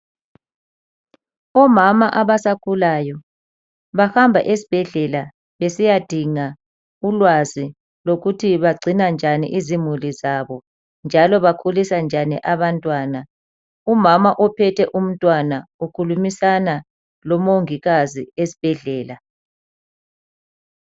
Omama abasakhulayo bahamba esibhedlela besiyadinga ulwazi lokuthi bagcina njani izimuli zabo njalo bakhulisa njani abantwana. Umama ophethe umntwana ukhulumisana lomongikazi esibhedlela.